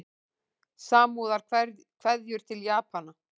Samúðarkveðjur til Japana